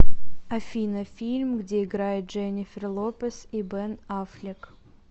афина фильм где играет дженнифер лопез и бен аффлек